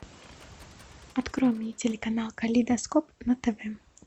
открой мне телеканал калейдоскоп на тв